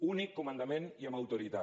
únic comandament i amb autoritat